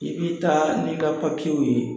I bi taa n'i ka w ye